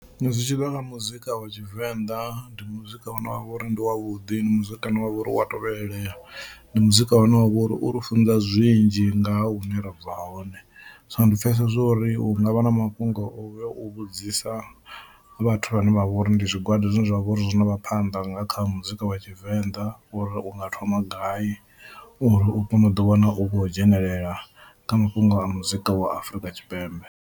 Zwi tshi ḓa kha muzika wa Tshivenḓa ndi muzika une wa vha uri ndi wavhuḓi, ndi muzika une wa vha uri u wa tovhelela, ndi muzika une wa vha uri uri funza zwinzhi nga ha hune ra bva hone. So ndi pfhesesa zwo ri hu nga vha na mafhungo oyo u vhudzisa vhathu vhane vha vha uri ndi zwigwada zwine zwa vha uri zwi zwo no vha phanḓa nga kha muzika wa tshivenḓa uri u nga thoma gai uri u kone u ḓi wana u khou dzhenelela kha mafhungo a muzika wa Afrika Tshipembe.